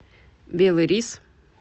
белый рис